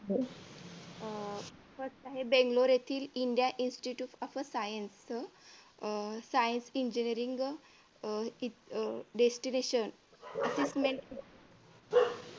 हो uh first आहे बेंगळूर येथील India institute of a science uh science ची engineering uh uh destination assistment